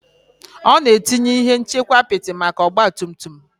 Ọ na-etinye ihe nchekwa apịtị maka ọgba tum tum